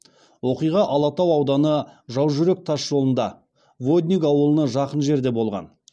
оқиға алатау ауданы жаужүрек тас жолында водник ауылына жақын жерде болған